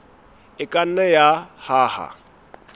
e ka nna ya hana